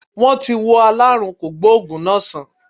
Wọ́n ti wo aláàrùn kògbóògù náá sán